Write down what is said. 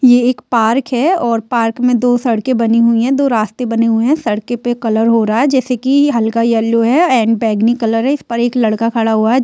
ये एक पार्क है और पार्क मे दो सड़के बनी हुई है दो रास्ते बने हुए है सड़के पे कलर हो रहा है जैसे की हल्का येलो है एंड बैंगनी कलर है इस पर एक लड़का खड़ा हुआ है।